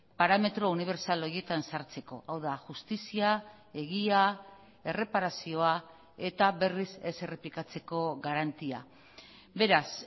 parametro unibertsal horietan sartzeko hau da justizia egia erreparazioa eta berriz ez errepikatzeko garantia beraz